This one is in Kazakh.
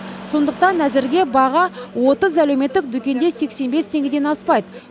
сондықтан әзірге баға отыз әлеуметтік дүкенде сексен бес теңгеден аспайды